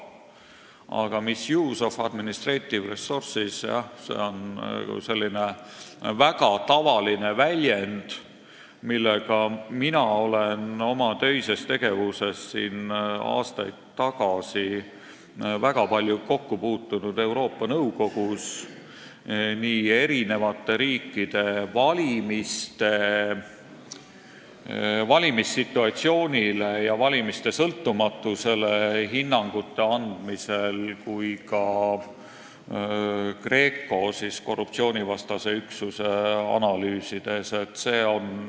Aga misuse of administrative resources on selline väga tavaline väljend, millega mina olen aastaid tagasi oma töises tegevuses Euroopa Nõukogus väga palju kokku puutunud, seda kasutatakse nii eri riikide valimissituatsioonile ja valimiste sõltumatusele hinnangu andmisel kui ka GRECO korruptsioonivastase üksuse analüüsides.